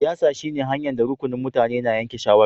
Siyasa shine hanya'n da rukunin mutane na yanke shawara.